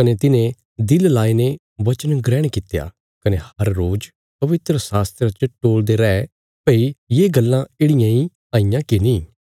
कने तिन्हें दिल लाईने वचन ग्रहण कित्या कने हर रोज पवित्रशास्त्रा च टोलदे रै भई ये गल्लां येढ़ियां इ हईयां की नीं